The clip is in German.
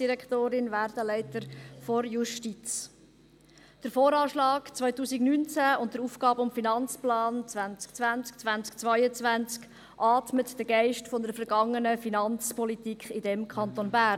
Der VA 2019 und der AFP 2020–2022 atmen den Geist einer vergangenen Finanzpolitik in diesem Kanton Bern.